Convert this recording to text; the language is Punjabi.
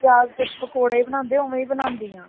ਪਿਆਜ ਦੇ ਪਕੌੜੇ ਬਾਨਾਂਦੇਵੋ ਓਵੇਂ ਬਣਾਂਦੀ ਹਾਂ